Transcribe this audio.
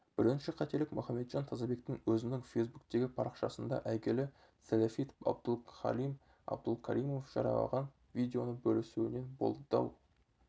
бірінші қателік мұхамеджан тазабектің өзінің фейсбуктегі парақшасында әйгілі сәләфит абдулхалим абдулкаримов жариялаған видеоны бөлісуінен болды дау